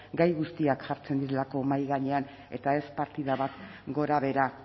gai guztiak jartzen direlako mahai gainean eta ez partida gorabehera